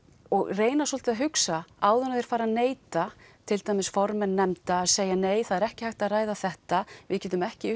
reyna svolítið að hugsa áður en þeir fara að neita til dæmis formenn nefnda segja nei það er ekki hægt að ræða þetta við getum ekki